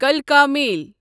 کَلکا میل